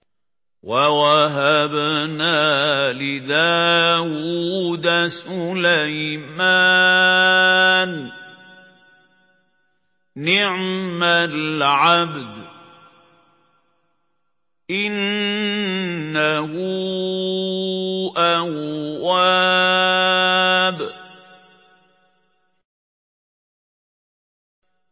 وَوَهَبْنَا لِدَاوُودَ سُلَيْمَانَ ۚ نِعْمَ الْعَبْدُ ۖ إِنَّهُ أَوَّابٌ